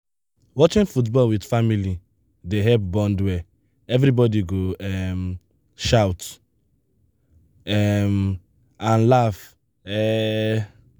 watching football with family dey help bond well everybody go um shout um and laugh. um